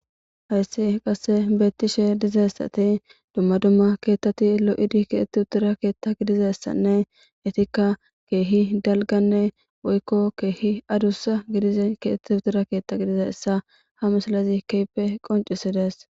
Hayssi qasse beettishe dizessati dumma dumma keettati lo7idi kietti uttira keetta gidizessanne itikka keehi dalganne woykko keehi adussa gidize kietti utira keetta gidiza essa ha misalazi keype qoncisidees.